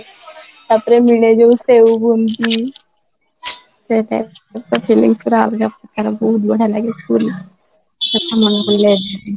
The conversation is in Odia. ତାପରେ ବେଳେବେଳେ ସେଇ